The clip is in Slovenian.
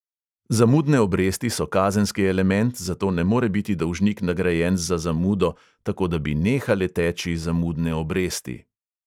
Zamudne obresti so kazenski element, zato ne more biti dolžnik nagrajen za zamudo, tako da bi nehale teči zamudne obresti.